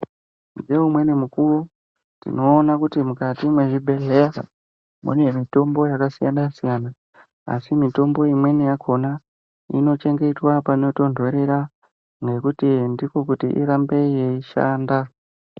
Neumweni mukuvo tinoona kuti mukati mwezvibhedhleya mune mitombo yakasiyana-siyana. Asi mitombo imweni yakona inochengetwa panotonhorera nekuti ndikokuti irambe yeishanda.